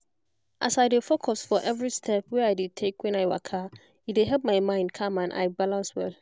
as i dey focus for every step wey i dey take when i waka e dey help my mind calm and i balance well